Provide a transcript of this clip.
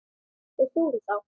Þeir fóru þá.